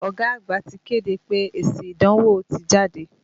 Ọ̀gá àgbà ti kéde pé èsì ìdánwò ti jáde.